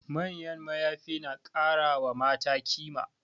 Manyan mayafi na kara wa mata kima